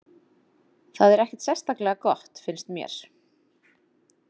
Það er ekkert sérstaklega gott, finnst mér.